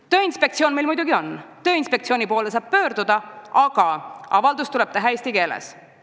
Tööinspektsioon meil muidugi on, selle poole saab pöörduda, aga avaldus sinna tuleb teha eesti keeles.